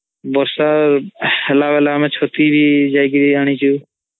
ବର୍ଷା ହେଲା ବେଲେ ଆମେ ଚତି ବି ଯାଈ କି ଆଣିଚୁ